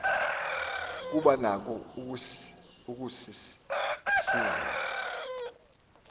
kuba nako ukusizela